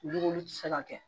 Dumuni ti se ka kɛ